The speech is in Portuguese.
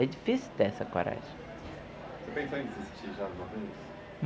É difícil ter essa coragem. Você já pensou em desistir alguma vez?